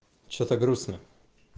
что-то грустно